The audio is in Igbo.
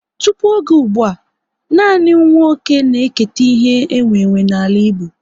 Tụpụ oge ụgbụa, nanị nwa oké na eketa ihe e nwe nwe n'ala Igbo